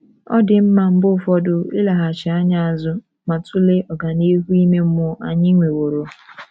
Ọ dị mma mgbe ụfọdụ ileghachi anya azụ ma tụlee ọganihu ime mmụọ anyị nweworo.